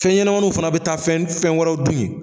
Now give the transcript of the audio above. Fɛn ɲɛnɛnɛmaniw fana bɛ taa fɛn fɛn wɛrɛ dun ye.